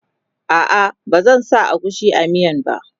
a'a ba zan sa agushi a miyan ba